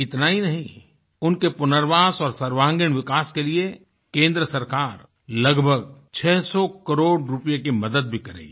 इतना ही नहीं उनके पुनर्वास और सर्वांगीणविकास के लिए केंद्र सरकार लगभग 600 करोड़ रूपए की मदद भी करेगी